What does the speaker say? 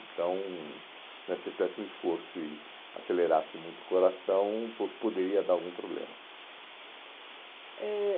Então né, se você tivesse um esforço e acelerasse muito o coração, po poderia dar algum problema. Ãh